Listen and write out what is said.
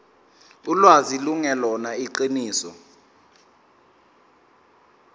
ulwazi lungelona iqiniso